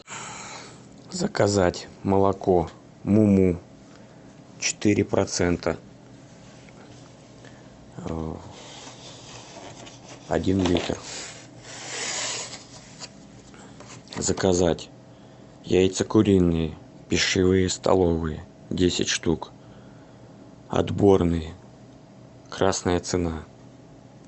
заказать молоко му му четыре процента один литр заказать яйца куриные пищевые столовые десять штук отборные красная цена